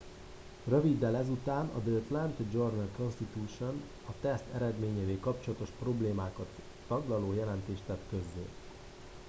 röviddel ezután a the atlanta journal constitution a teszt eredményeivel kapcsolatos problémákat taglaló jelentést tett közzé